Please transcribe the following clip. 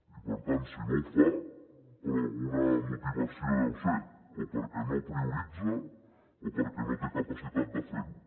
i per tant si no ho fa per alguna motivació deu ser o perquè no prioritza o perquè no té capacitat de fer ho